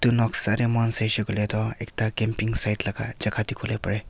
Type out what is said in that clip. noksa teh moikhan saishe koile toh ekta campaign side laga jaga dikhi bo pare.